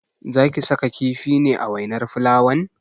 Zaki saka kifi ne a wainar fulawan?